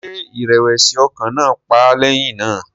Ṣé ìrẹ̀wẹ̀sì ọkàn náà pa á lẹ́yìn náà?